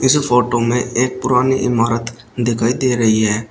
इस फोटो में एक पुरानी इमारत दिखाई दे रही है।